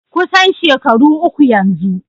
Kusan shekaru uku yanzu.